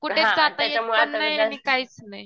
कुठे जाता पण येत नाही आणि काहीच नाही.